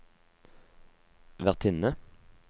vertinne